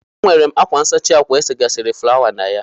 E nwere m ákwá nsachi ákwà esegasịrị fụlawa na ya.